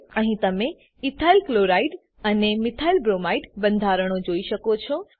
અહીં તમે ઇથાઇલક્લોરાઇડ અને મિથાઇલબ્રોમાઇડ બંધારણો જોઈ શકો છો